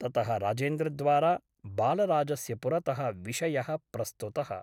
ततः राजेन्द्रद्वारा बालराजस्य पुरतः विषयः प्रस्तुतः ।